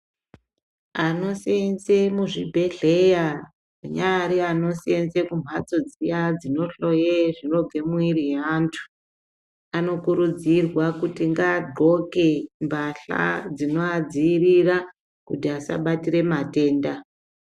Anoseenze muzvibhedhleya, anyari anoseenze kumphatso dziya dzinohloye zvinobve mumwiiri yeantu, anokurudzirwa kuti ngaadxoke mbahla dzinoadziirira ,kuti asabatire matenda.